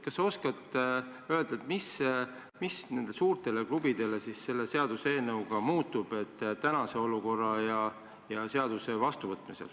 Kas sa oskad öelda, mis nende suurte klubide jaoks võrreldes praeguse olukorraga muutuks?